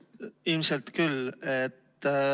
Jaa, ilmselt küll.